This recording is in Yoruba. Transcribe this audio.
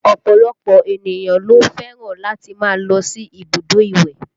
Ọ̀pọ̀lọpọ̀ ènìyàn ló fẹ́ràn láti máa lọ sí ibùdó ìwẹ̀